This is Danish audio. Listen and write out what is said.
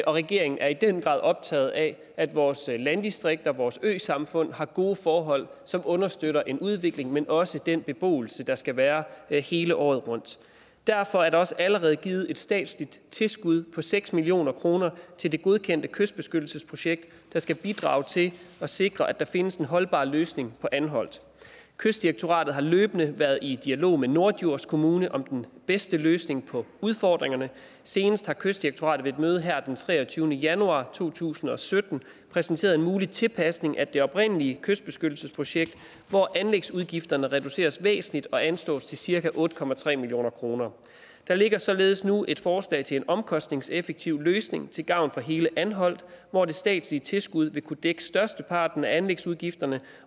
regeringen er i den grad optaget af at vores landdistrikter og vores øsamfund har gode forhold som understøtter en udvikling men også den beboelse der skal være der hele året rundt derfor er der også allerede givet et statsligt tilskud på seks million kroner til det godkendte kystbeskyttelsesprojekt der skal bidrage til at sikre at der findes en holdbar løsning på anholt kystdirektoratet har løbende været i dialog med norddjurs kommune om den bedste løsning på udfordringerne senest har kystdirektoratet ved et møde her den treogtyvende januar to tusind og sytten præsenteret en mulig tilpasning af det oprindelige kystbeskyttelsesprojekt hvor anlægsudgifterne reduceres væsentligt og anslås til cirka otte million kroner der ligger således nu et forslag til en omkostningseffektiv løsning til gavn for hele anholt hvor det statslige tilskud vil kunne dække størsteparten af anlægsudgifterne